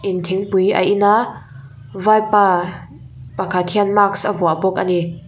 in thingpui a in a vaipa pakhat hian mask a vuah bawk ani.